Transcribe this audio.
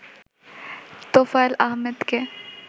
তোফায়েল আহমেদকে